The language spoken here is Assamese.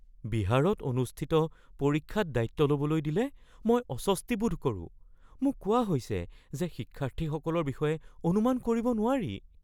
বিহাৰত অনুষ্ঠিত পৰীক্ষাত দায়িত্ব ল'বলৈ দিলে মই অস্বস্তিবোধ কৰোঁ। মোক কোৱা হৈছে যে শিক্ষাৰ্থীসকলৰ বিষয়ে অনুমান কৰিব নোৱাৰি।